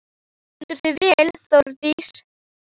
Þú stendur þig vel, Þórdís!